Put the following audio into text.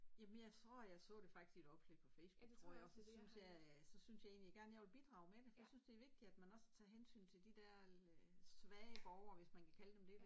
Jamen, jeg tror, jeg så det faktisk i et opslag på Facebook tror jeg, og så syntes jeg at så synes jeg egentlig gerne, jeg ville bidrage med det, for jeg synes det er vigtigt, at man også tager hensyn til de der øh svage borgere, hvis man kan kalde dem det